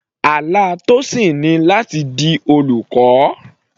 Àlá Tosin ni láti di olùkọ́.